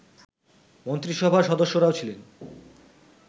মন্ত্রিসভার সদস্যরাও ছিলেন